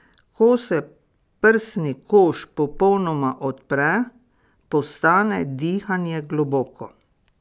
Ko se prsni koš popolnoma odpre, postane dihanje globoko.